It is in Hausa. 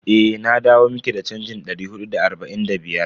Eh, na dawo miki da chanjin dari hudu da arba'in da biyar.